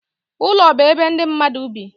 Ụlọ bụ ebe ndị mmadụ bi.